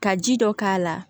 Ka ji dɔ k'a la